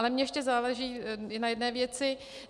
Ale mně ještě záleží na jedné věci.